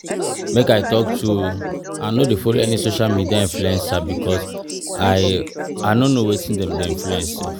Make I talk true, I no dey follow any social media influencer because I I no know wetin dem dey influence